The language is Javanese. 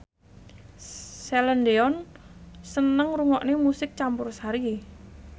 Celine Dion seneng ngrungokne musik campursari